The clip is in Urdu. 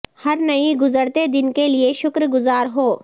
ہر نئی گزرتے دن کے لئے شکر گزار ہو